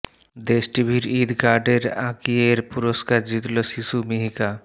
দেশ টিভির ঈদ কার্ডের আঁকিয়ের পুরষ্কার জিতল শিশু মিহিকা